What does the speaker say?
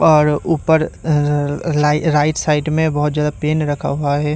और ऊपर अ लाई राइट साइड में बहोत ज्यादा पेन रखा हुआ है।